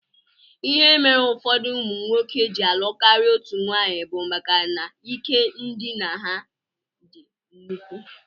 Ihe mere ụfọdụ ụmụnwoke ji alụ karịa otú nwaanyị bụ maka na ike ndina ha dị nnukwu